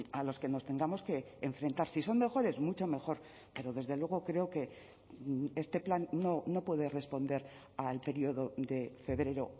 a los que nos tengamos que enfrentar si son mejores mucho mejor pero desde luego creo que este plan no puede responder al periodo de febrero